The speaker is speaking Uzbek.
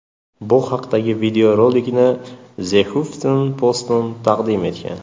Bu haqdagi videorolikni The Huffington Post taqdim etgan .